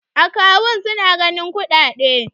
akawun suna ganin kuɗaɗe